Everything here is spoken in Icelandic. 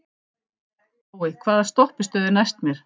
Tói, hvaða stoppistöð er næst mér?